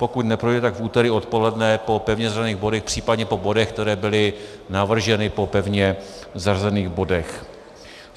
Pokud neprojde, tak v úterý odpoledne po pevně zařazených bodech, případně po bodech, které byly navrženy po pevně zařazených bodech.